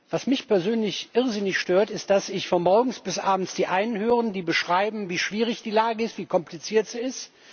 Was mich persönlich irrsinnig stört, ist, dass ich von morgens bis abends die einen höre, die beschreiben, wie schwierig die Lage ist, wie kompliziert sie ist.